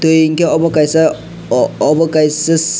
twi unkke obo kaisa obo kaisa.